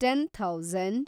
ten thousand